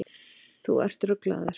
Þú ert ruglaður.